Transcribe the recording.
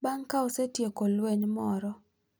Bang’ ka osetieko lweny moro,